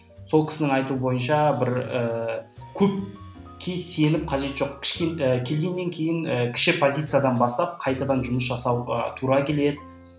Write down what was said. сол кісінің айтуы бойынша бір ііі көпке сеніп қажеті жоқ келгеннен кейін і кіші позициядан бастап қайтадан жұмыс жасауға тура келеді